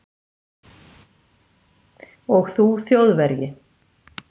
og þú þjóðverji